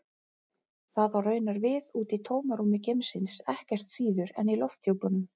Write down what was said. Það á raunar við úti í tómarúmi geimsins ekkert síður en í lofthjúpnum.